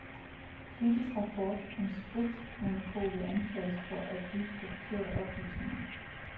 Kritisk rapport om spritmonopolet anklages for at bygge på forkerte oplysninger.